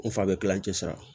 N fa bɛ kilan cɛ siran